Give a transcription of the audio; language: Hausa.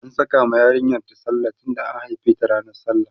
an Saka ma yarinyar ta sallah tunda an haife ta ranan sallah